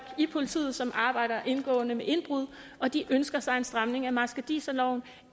i politiet som arbejder indgående med indbrud og de ønsker sig en stramning af marskandiserloven